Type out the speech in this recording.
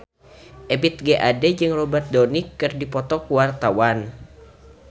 Ebith G. Ade jeung Robert Downey keur dipoto ku wartawan